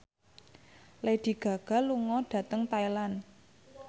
Lady Gaga lunga dhateng Thailand